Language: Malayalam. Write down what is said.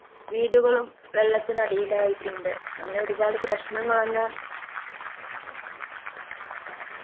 വീടുകളും വെള്ളത്തിനടിയിലായിട്ടുണ്ട് അങ്ങനെ ഒരുപാട് പ്രശ്നങ്ങളാണ്